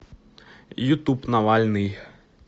ютуб навальный